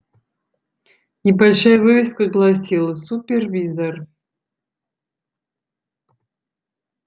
небольшая вывеска гласила супервизор